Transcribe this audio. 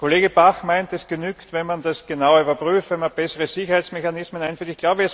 Kollege Bach meint, es genüge, wenn man das genau überprüft, wenn man bessere Sicherheitsmechanismen einführt.